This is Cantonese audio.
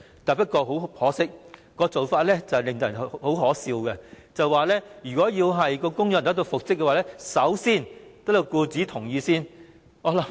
不過，很可惜，當時的建議相當可笑，就是如果僱員要求復職，必須先得到僱主的同意。